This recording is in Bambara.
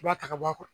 I b'a ta ka bɔ a kɔrɔ